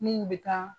Min bɛ taa